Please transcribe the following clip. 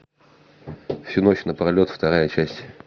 всю ночь на пролет вторая часть